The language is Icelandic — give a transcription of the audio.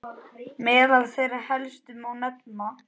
Meðal þeirra helstu má nefna